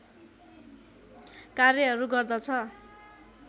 कार्यहरू गर्दछ